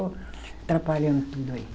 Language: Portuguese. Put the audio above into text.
Atrapalhando tudo aí.